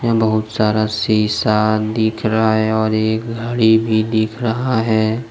बहुत सारा शीशा दिख रहा है और एक घड़ी भी दिख रहा है।